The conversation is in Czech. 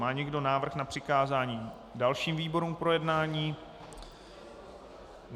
Má někdo návrh na přikázání dalším výborům k projednání?